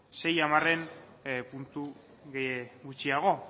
sei hamarren puntu gutxiago